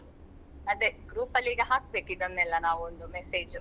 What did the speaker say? ಅದೆ group ಅಲ್ಲಿ ಈಗ ಹಾಕ್ಬೇಕು ಇದನ್ನೆಲ್ಲಾ ನಾವ್ ಒಂದು message .